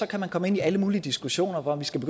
kan man komme ind i alle mulige diskussioner om at vi skal